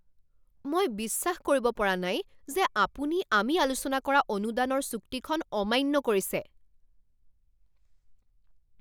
মই বিশ্বাস কৰিব পৰা নাই যে আপুনি আমি আলোচনা কৰা অনুদানৰ চুক্তিখন অমান্য কৰিছে।